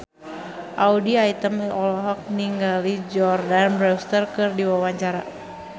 Audy Item olohok ningali Jordana Brewster keur diwawancara